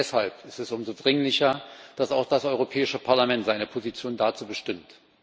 Deshalb ist es umso dringlicher, dass auch das Europäische Parlament seine Position dazu bestimmt.